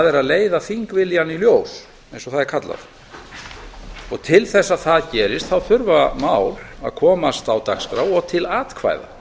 er að leiða þingviljann í ljós eins og það er kallað til þess að það gerist þurfa mál að komast á dagskrá og til atkvæða